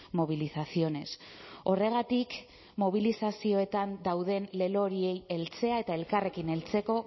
movilizaciones horregatik mobilizazioetan dauden lelo horiei heltzea eta elkarrekin heltzeko